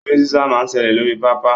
Eré sísá máa ń ṣẹlẹ̀ lórí pápá.